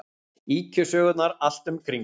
Ýkjusögurnar allt um kring.